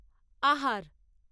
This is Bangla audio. আহার।